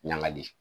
Ɲagali